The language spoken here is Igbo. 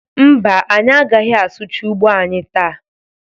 Mba, anyị agaghị asụcha ugbo anyị taa.